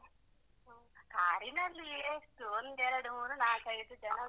ಹಾ ಕಾರಿನಲ್ಲಿ ಎಷ್ಟು ಒಂದು ಎರಡು ಮೂರು ನಾಲ್ಕು ಐದು ಜನ.